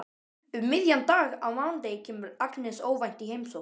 Um miðjan dag á mánudegi kemur Agnes óvænt í heimsókn.